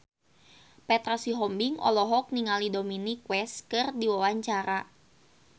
Petra Sihombing olohok ningali Dominic West keur diwawancara